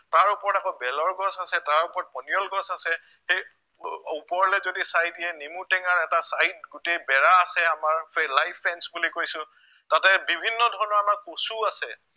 তাৰ ওপৰত আকৌ বেলৰ গছ আছে, তাৰ ওপৰত পনিয়ল গছ আছে সেই ওপৰলে যদি চাই দিয়ে নেমুটেঙাৰ এটা side গোটেই বেৰা আছে আমাৰ গোটেই live fence বুলি কৈছো তাতে বিভিন্নধৰণৰ আমাৰ কচু আছে